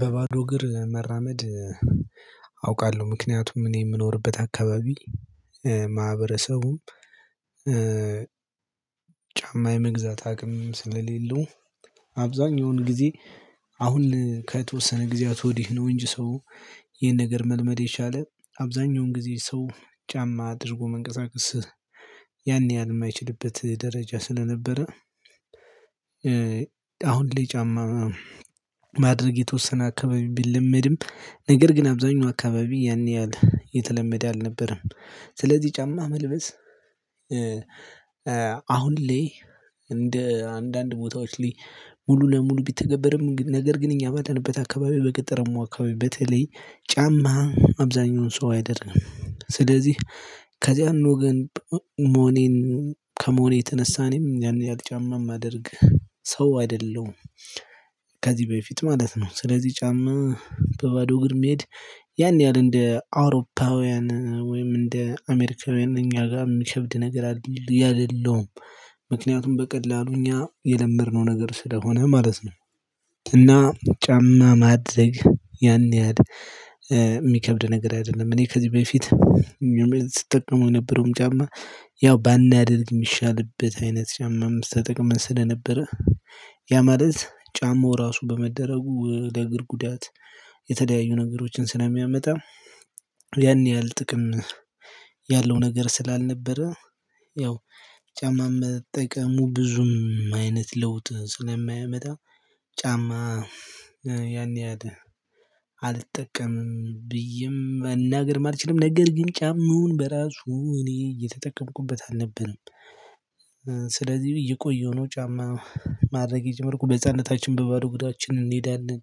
በባዶ እግር መራመድ። አውቃለሁ ምክንያቱም እኔ የምኖርበት አካባቢ ማህበረሰቡም እ ጫማ የመግዛት አቅም ስለሌለው አብዛኛውን ጊዜ አሁን ከተወሰነ ጊዜያት ወዲህ ነው እንጂ ሰው ይሄን ነገር መልመድ የቻለው አብዛኛውን ጊዜ ሰው ጫማ አድርጎ መንቀሳቀስ ያን ያህል የማይችልበት ደረጃ ስለነበረ አሁን ላይ ጫማ ማድረግ የተወሰነ አካባቢ ቢለመድም ነገር ግን አብዛኛው አካባቢ ያን ያህል የተለመደ አልነበረም። ስለዚህ ጫማ መልበስ አሁን ላይ እንደ አንዳንድ ቦታዎች ላይ ሙሉ ለሙሉ ቢተገበርም ነገር ግን እኛ ባለንበት አካባቢ በገጠራማው አካባቢ በተለይ ጫማ አብዛሀኛውን ሰው አይጠቅምም ስለዚህ ከዚያን ወገን መሆኔን ከመሆኔ የተነሳ እኔም ያን ያህል ጫማ የማድረግ ሰው አይደለሁም። ከዚህ በፊት ማለት ነው ስለዚህ ጫማ በባዶ እግር መሄድ ያን ያህል እንደ አውሮፓውያን ወይም እንደ አሜሪካውያን እኛ ጋር የሚከብድ ነገር አይደለም ምክንያቱም በቀላሉ እኛ የለመድነው ነገር ስለሆነ ማለት ነው። እና ጫማ ማድረግ ያን ያህል የሚከብድ ነገር አይደለም እኔ ከዚህ በፊት ስጠቀመው የነበረውም ጫማ ያው ባናደርግ የሚሻልበት አይነት ጫማ ጫማም ተጠቅመን ስለነበረ ያ ማለት ጫማው ራሱ በመደረጉ ለእግር ጉዳት የተለያዩ ነገሮችን ስለሚያመጣ። ያን ያህል ጥቅም ያለው ነገር ስላልነበረ ያው ጫማ መጠቀሙ ብዙም አይነት ለውጥ ስለማያመጣ ጫማ እ ያን ያህል አልጠቀምም ብዬም መናገር አልችልም ነገር ግን ጫማውን በራሱ እኔ እየተጠቀምኩበት አልነበረም። ስለዚህ አየቆየሁ ነው ጫማ ማድረግ የጀመርኩት በሕፃንነታች በባዶ አግራችን እንሄዳለን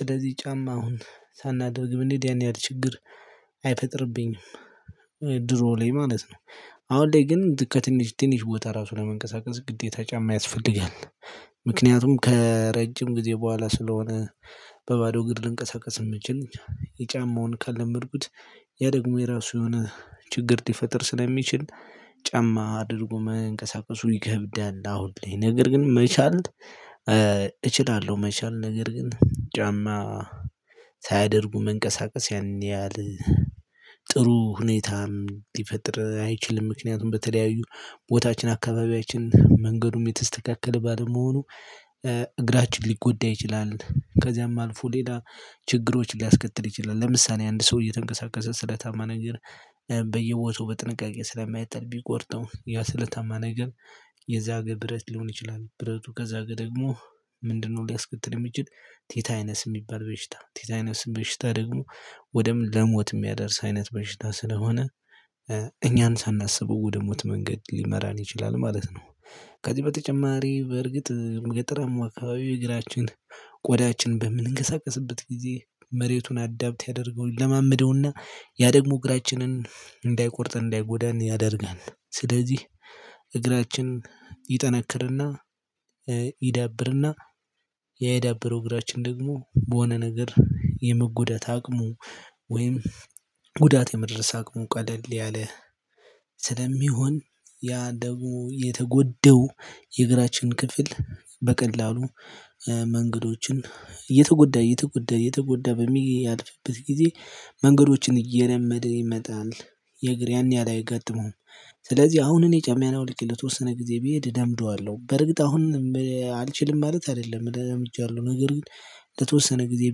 ስለዚህ ጫማ አሁን ሳናደርግም እብንሄድ ያን ያህል ችግር አይፈጥርብኝም። ድሮ ላይ ማለት ነው አሁን ላይ ግን ከትንሽ ትንሽ ቦታ ራሱ ለመንቀሳቀስ ግዴታ ጫማ ያስፈልጋል ምክንያቱም ከረጅም ጊዜ በኋላ ስለሆነ በባዶ ግድ ልንቀሳቀስ እምንችልኝ ጫማውን ከለመድኩት ያ ደግሞ የራሱ የሆነ ችግር ሊፈጥር ስለሚችል ጫማ አድርጎ መንቀሳቀሱ ይከብዳል። አሁን ላይ ነገር ግን መቻል እችላለሁ መቻል ነገርግን ጫማ ሳያደርጉ መንቀሳቀስ ያን ያህል ጥሩ ሁኔታም ሊፈጥር አይችልም ምክንያቱም በተለያዩ ቦታችን አካባቢያችን መንገዱም የተስተካከለ ባለመሆኑ እግራችን ሊጎዳ ይችላል። ከዚያም አልፎ ሌላ ችግሮች ሊያስከትል ይችላል ለምሳሌ አንድ ሰው እየተንቀሳቀሰ ስለታማ ነገር በየቦታው በጥንቃቄ ስለማይጥል ቢቆርጠው ያ ስለታማ ነገር የዛገ ብረት ሊሆን ይችላል ብረቱ ከዛገ ደግሞ ምንድነው ሊያስከትል የሚችለው ቴታነስ የሚባል በሽታ ቲታይነስ በሽታ ደግሞ ወደም ለሞት የሚያደርስ አይነት በሽታ ስለሆነ እኛን ሳናስብ ወደ ሞት መንገድ ሊመራን ይችላል ማለት ነው። ከዚህ በተጨማሪ በርግጥ ገጠራማው አካባቢ እግራችን ቆዳችን በምንንቀሳቀስበት ጊዜ መሬቱን አዳብት ያደርገው ይለማመደውና ያ ደግሞ እግራችንን እንዳይቆርጥ እንዳይጎዳን ያደርጋል ስለዚህ እግራችን ይጠነክርና ይዳብርና ያ የዳብረው እግራችን ደግሞ በሆነ ነገር የመጎዳት አቅሙ ወይም ጉዳት የመድረስ አቅሙ ቀለል ያለ ስለሚሆን ያ ደግሞ የተጎዳው የእግራችን ክፍል በቀላሉ መንገዶችን እየተጎዳ እየተጎዳ እየተጎዳ በሚያልፍበት ጊዜ መንገዶችን እየለመደ ይመጣል የእግር ያን ያህል አያጋጥመውም። ስለዚህ አሁን አኔ ጫማዬን አውልቄ ለተወሰነ ጊዜ ብሄድ እለምደዋለሁ በርግጥ አሁን አልችልም ማለት አይደለም ለምጃለሁ ነገር ግን ለተወሰነ ጊዜ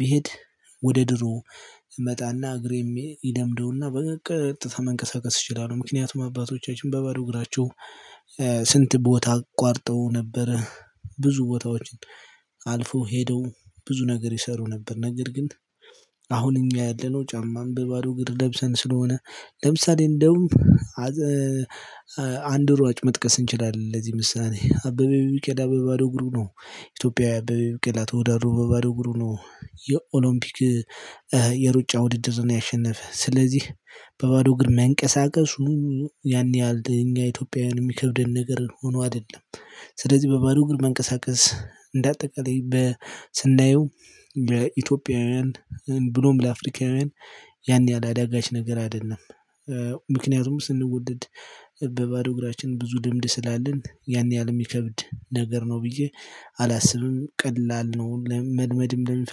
ብሄድ ወደ ድሮ እመጣና እግሬም ይለምደውና በቀጥታ መንቀሳቀስ እችላለሁ። ምክንያቱም አባቶቻችን በባዶ እግራቸው ስንት ቦታ አቋርጠው ነበረ ብዙ ቦታዎችን አልፈው ሄደው ብዙ ነገር ይሰሩ ነበር ነገር ግን። አሁን እኛ ያለነው ጫማም በባዶ ግር ለብሰን ስለሆነ ለምሳሌ እንደውም አንድ ሯጭ መጥቀስ እንችላለን ለዚህ ምሳሌ አበበ ቢቂላ በባዶ አግሩ ነው ኢትዮጵያዊ አበበ ቢቀላ ተወዳዶ በባዶ አግሩ ነው የኦሎምፒክ የሩጫ ውድድርን ያሸነፈ ስለዚህ በባዶ አግር መንቀሳቀሱ ያን ያህል ለኛ ኢትዮጵያውያን የሚከብደን ነገር ሆኖ አይደለም። ስለዚህ በባዶ እግር መንቀሳቀስ እንደ አጠቃላይ በ ስናየው ለኢትዮጵያውያን ብሎም ለአፍሪካውያን ያን ያህል አዳጋች ነገር አይደለም። ምክንያቱም ስንወለድ በባዶ እግራችን ብዙ ልምድ ስላለን ያን ያህል የሚከብድ ነገር ነው ብዬ አላስብም ቀላል ነው መልመድም ለሚፈልግ